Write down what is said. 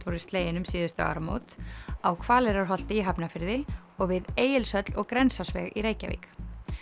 voru slegin um síðustu áramót á Hvaleyrarholti í Hafnarfirði og við Egilshöll og Grensásveg í Reykjavík